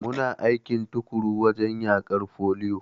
Muna aiki tuƙuru wajen yaƙar foliyo.